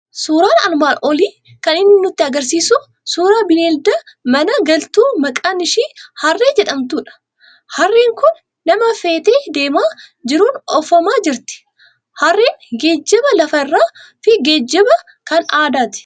Suuraan armaan olii kan inni nutti argisiisu suuraa bineelda mana galtu maqaan ishii harree jedhamtudha. Harreen kun nama fe'ateedeemaa jiruun oofamaa jirti. Harreen geejjiba lafa irraa fi geejjiba kan aadaati.